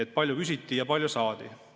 Kui palju küsiti ja kui palju saadi?